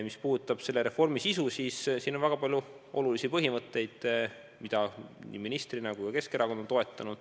Mis puudutab selle reformi sisu, siis selles on väga palju olulisi põhimõtteid, mida nii mina ministrina kui ka Keskerakond on toetanud.